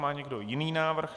Má někdo jiný návrh?